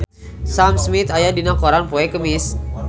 Sam Smith aya dina koran poe Kemis